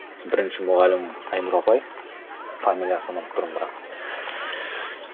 бірінші мұғалімім айнұр апай фамилиясын ұмытып тұрмын бірақ